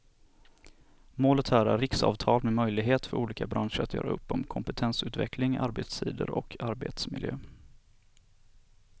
Målet här är riksavtal med möjlighet för olika branscher att göra upp om kompetensutveckling, arbetstider och arbetsmiljö.